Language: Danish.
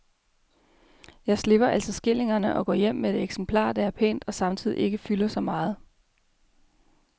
Jeg slipper altså skillingerne og går hjem med et eksemplar, der er pænt og samtidig ikke fylder så meget.